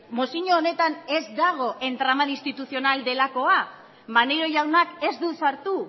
mozio honetan ez dago entramado institucional delakoa maneiro jaunak ez du sartu